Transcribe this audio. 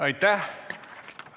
Aitäh!